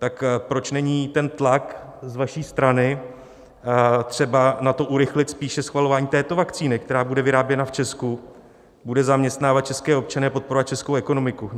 Tak proč není ten tlak z vaší strany třeba na to, urychlit spíše schvalování této vakcíny, která bude vyráběna v Česku, bude zaměstnávat české občany a podporovat českou ekonomiku?